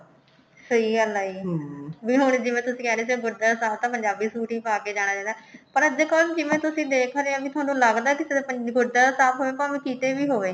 ਸਹੀ ਗੱਲ ਹੈ ਜੀ ਵੀ ਹੁਣ ਜਿਵੇਂ ਤੁਸੀਂ ਕਹਿ ਰਹੇ ਸੀ ਗੁਰਦੁਵਾਰਾ ਸਾਹਿਬ ਤਾਂ ਪੰਜਾਬੀ suit ਹੀ ਪਾਕੇ ਜਾਣਾ ਚਾਹੀਦਾ ਪਰ ਅੱਜਕਲ ਜਿਵੇਂ ਤੁਸੀਂ ਦੇਖ ਰਹੇ ਹੋ ਵੀ ਤੁਹਾਨੂੰ ਲੱਗਦਾ ਕਿ ਗੁਰਦਵਾਰਾ ਸਾਹਿਬ ਹੋਵੇ ਭਾਵੇਂ ਕਿਤੇ ਵੀ ਹੋਵੇ